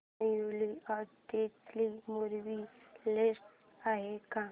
newly added movie list आहे का